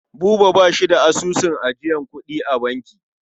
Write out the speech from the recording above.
Buba ba shi da asusun ajiyar kuɗi a banki.